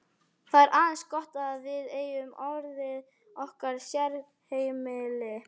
Það er eins gott að við eigum orðið okkar sérheimili.